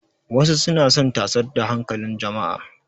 Wasu suna son tasar da hankalin jama'a.